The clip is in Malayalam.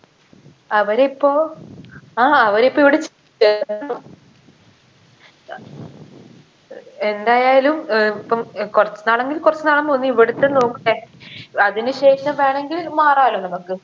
അവരിപ്പോ ആ അവരിപ്പൊ ഇവിടെ ചേർത്തു എന്തായാലും ഏർ ഇപ്പം ഏർ കൊർച്ച് നാളെങ്കിൽ കൊർച്ച് നാളും പോന്ന് ഇവിടത്തെ അതിന് ശേഷം വേണെങ്കിൽ മാറാലോ നമ്മക്ക്